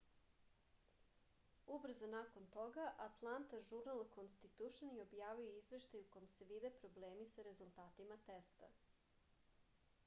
ubrzo nakon toga atlanta žurnal konstitušn je objavio izveštaj u kom se vide problemi sa rezultatima testa